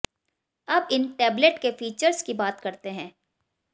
अब इन टैबलेट के फीचर्स की बात करते हैं